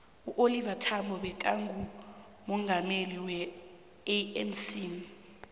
uoliver thambo bekangumongameli we anc